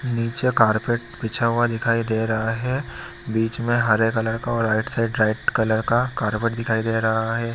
नीचे कारपेट बिछा हुआ दिखाई दे रहा है बीच में हरे कलर का और राइट साइड रैड कलर का कारपेट दिखाई दे रहा है।